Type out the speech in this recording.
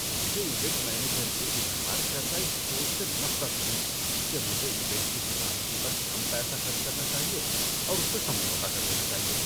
مجھے event manager کی اظہار کردہ اس سوچ سے نفرت ہوئی کہ مجھے ایونٹ کی سلامتی پر کم یپسہ خرچ کرنا چاہیے اور اس سے سمجھوتہ کر لینا چاہیے۔